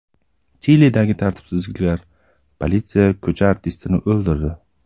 Chilidagi tartibsizliklar: politsiya ko‘cha artistini o‘ldirdi.